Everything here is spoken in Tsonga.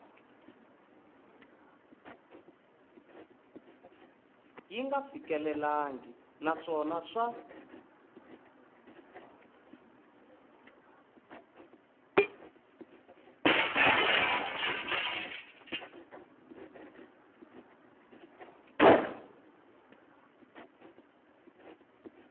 yi nga fikelelangi naswona swa